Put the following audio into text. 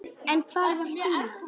En hvar var Stína?